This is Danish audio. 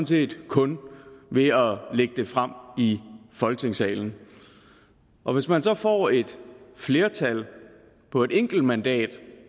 set kun ved at lægge det frem i folketingssalen og hvis man så får et flertal på et enkelt mandat